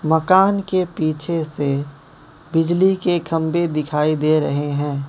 मकान के पीछे से बिजली के खंभे दिखाई दे रहें हैं।